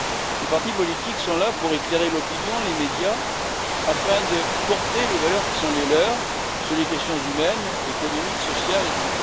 Les partis politiques sont là pour éclairer l'opinion et les médias, afin de porter les valeurs qui sont les leurs, sur les questions humaines, économiques, sociales, etc.